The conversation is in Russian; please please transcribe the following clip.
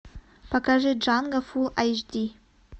покажи джанго фулл айч ди